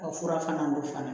O fura fana don fana